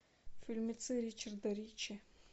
фильмецы ричарда ричи